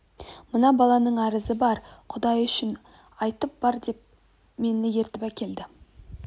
мына баланың арызы бар құдай үшін айтып бер деп мен ертіп әкелді